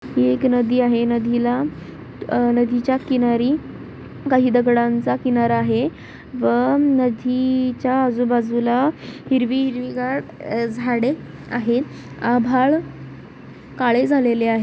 ही एक नदी आहे नदीला अ-ह- नदीच्या किनारी काही दगडांचा किनारा आहे व नदीच्या आजू-बाजूला हिरवी हिरवीगार अ-ह- झाडे आहेत आभाळ काळे झालेले आहे.